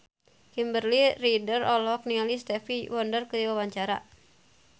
Kimberly Ryder olohok ningali Stevie Wonder keur diwawancara